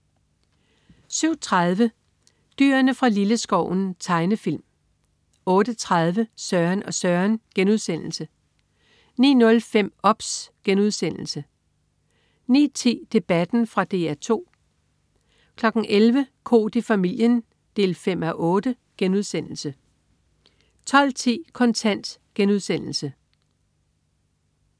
07.30 Dyrene fra Lilleskoven. Tegnefilm 08.30 Søren og Søren* 09.05 OBS* 09.10 Debatten. Fra DR 2 11.00 Koht i familien 5:8* 12.10 Kontant*